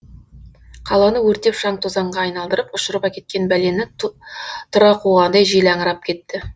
қаланы өртеп шаң тозаңға айналдырып ұшырып әкеткен бәлені тұра қуғандай жел аңырап кетті